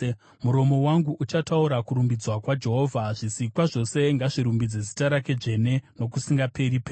Muromo wangu uchataura kurumbidzwa kwaJehovha. Zvisikwa zvose ngazvirumbidze zita rake dzvene nokusingaperi-peri.